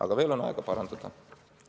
Aga veel on aega seda parandada.